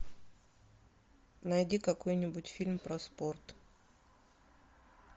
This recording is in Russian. найди какой нибудь фильм про спорт